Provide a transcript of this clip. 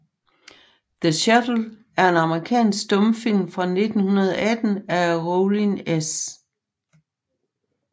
The Shuttle er en amerikansk stumfilm fra 1918 af Rollin S